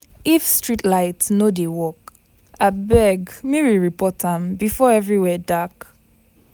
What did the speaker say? If street light no dey work, abeg make we report am before everywhere dark.